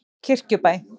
Kirkjubæ